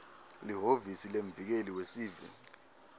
lihhovisi lemvikeli wesive